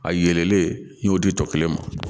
A yelenlen n y'o di tɔ kelen ma